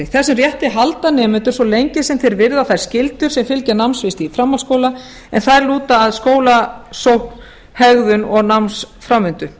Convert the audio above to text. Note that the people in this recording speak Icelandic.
þessum rétti halda nemendur svo lengi sem þeir virða þær skyldur sem fylgja námsrétti í framhaldsskóla en þær lúta að skólasókn hegðun og námsframvindu